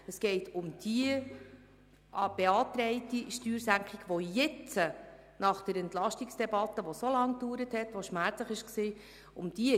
Es geht um die beantragte Steuersenkung, die jetzt nach der Entlastungsdebatte, die so lange dauerte und so schmerzhaft war, verlangt wird.